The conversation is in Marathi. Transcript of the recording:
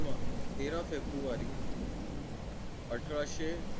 जन्म तेरा फेब्रुवारी अठराशे